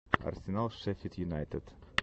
арсенал шеффилд юнайтед